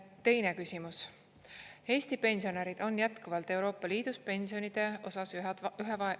Teine küsimus: "Eesti pensionärid on jätkuvalt EL-is pensionide osas ühed vaesemad.